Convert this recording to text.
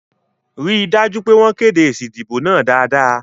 Rí dájú pé wọ́n kéde èsì ìdìbò náà dáadáa